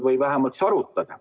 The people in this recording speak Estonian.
Või vähemalt siis arutage.